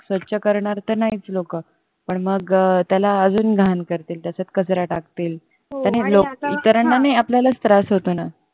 स्वच्छ करणर तर नाहीच लोक पण मग त्याला अजून घाण करतील त्याच्यात कचरा टाकतील आणि इतरांना नाही अपलाल्याच त्रास होतो ना